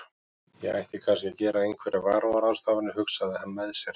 Ég ætti kannski að gera einhverjar varúðarráðstafanir, hugsaði hann með sér.